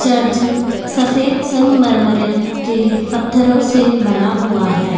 Church सफेद संगमरमर के पत्थरों से बना हुआ है।